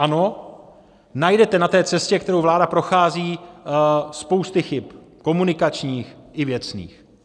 Ano, najdete na té cestě, kterou vláda prochází, spousty chyb - komunikačních i věcných.